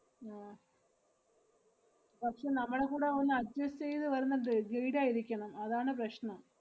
ആഹ് പക്ഷേ നമ്മളെ കൂടെ ഒന്ന് adjust ചെയ്ത് വരുന്ന ദ്~ guide ആയിരിക്കണം, അതാണ് പ്രശ്നം.